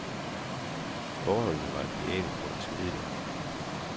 Forholdene var ideelle for en smedelærling.